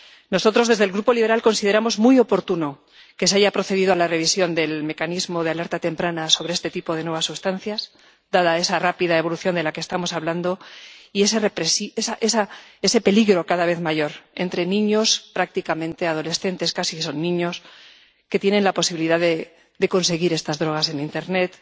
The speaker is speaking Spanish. Nosotros desde el Grupo liberal consideramos muy oportuno que se haya procedido a la revisión del mecanismo de alerta temprana sobre este tipo de nuevas sustancias, dada esa rápida evolución de la que estamos hablando y ese peligro cada vez mayor entre niños —prácticamente adolescentes, casi son niños— que tienen la posibilidad de conseguir estas drogas en internet,